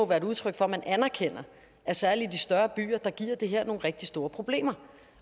være udtryk for at man anerkender at særlig i de større byer giver det her nogle rigtig store problemer